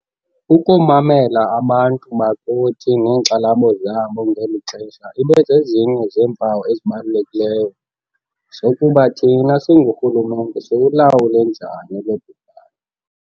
Ukumamela abantu bakuthi neenkxalabo zabo ngeli xesha ibe zezinye zempawu ezibalulekileyo zokuba thina singurhulumente siwulawule njani lo bhubhane.